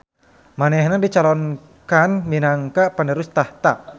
Manehna dicalonkan minangka penerus tahta